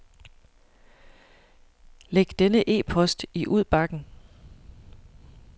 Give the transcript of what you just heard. Læg denne e-post i udbakken.